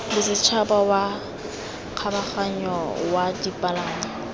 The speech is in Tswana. bosetšhaba wa kgabaganyo wa dipalangwa